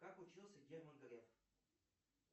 как учился герман греф